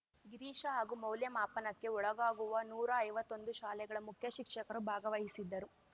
ಗಿರೀಶ ಹಾಗೂ ಮೌಲ್ಯಮಾಪನಕ್ಕೆ ಒಳಗಾಗುವ ನೂರಾ ಐವತ್ತೊಂದು ಶಾಲೆಗಳ ಮುಖ್ಯ ಶಿಕ್ಷಕರು ಭಾಗವಹಿಸಿದ್ದರು